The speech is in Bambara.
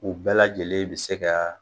U bɛɛ lajɛlen bi se ka